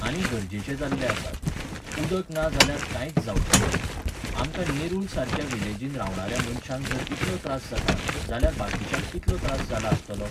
आनी गरजेचे जाल्ले आसात. उदक ना जाल्यार कांयच जांवचे ना. आमकां नेरुल सारक्या विलेजीन रावण्यांऱ्या मनशांक जर इतलो त्रास जाता, जाल्यार बाकींच्याक कितलो त्रास जाला आसतलो?